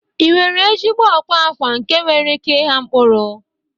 Ị nwere ezigbo akwa akwa nke nwere ike ịgha mkpụrụ?